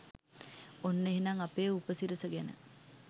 ඔන්න එහෙනම් අපේ උපසිරස ගැන